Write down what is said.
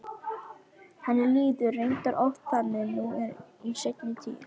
En henni líður reyndar oft þannig nú í seinni tíð.